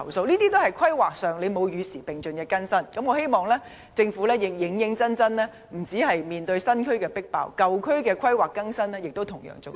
這些都是在規劃上沒有與時並進地更新，我希望政府認真處理問題，不止面對新區"迫爆"的情況，舊區的規劃更新亦同樣重要。